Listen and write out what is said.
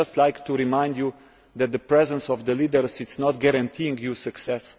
I would just like to remind you that the presence of leaders does not guarantee success.